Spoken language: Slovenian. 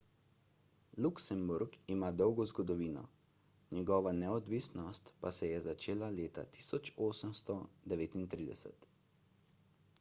luksemburg ima dolgo zgodovino njegova neodvisnost pa se je začela leta 1839